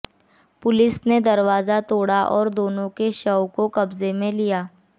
police ने दरवाजा तोड़ा और दोनों के शव को कब्जे में लिया